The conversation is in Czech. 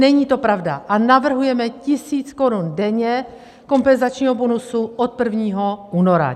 Není to pravda a navrhujeme tisíc korun denně kompenzačního bonusu od 1. února.